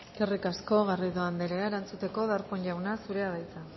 eskerrik asko garrido anderea erantzuteko darpón jauna zurea da hitza